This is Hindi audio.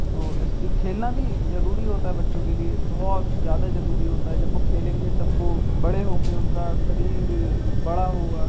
इसलिए खेलना भी ज़रूरी होता है बच्चों के लिए बहोत ज़्यादा ज़रूरी होता है जब वो खेलेंगे तब वो बड़े होंगे उनका शरीर बड़ा होगा।